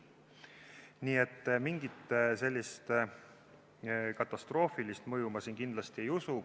Nii et mingit katastroofilist mõju ma siin kindlasti ei usu.